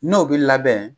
N'o bi labɛn